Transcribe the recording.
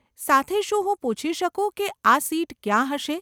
સાથે, શું હું પૂછી શકું કે આ સીટ ક્યાં હશે?